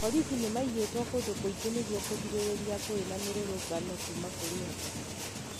Borithi nĩ maigĩtwo kũndũ kũingĩ nĩguo kũgirĩrĩria ngũĩ na mĩrũrũngano kuma kũrĩ andũ